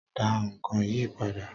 Da nkán yíí padà